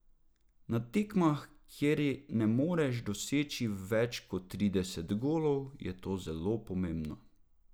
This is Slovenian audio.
Na tekmah, kjer ne moreš doseči več kot trideset golov, je to zelo pomembno.